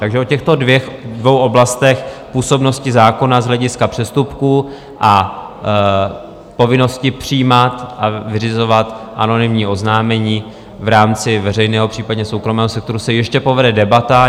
Takže o těchto dvou oblastech působnosti zákona z hlediska přestupků a povinnosti přijímat a vyřizovat anonymní oznámení v rámci veřejného, případně soukromého sektoru se ještě povede debata.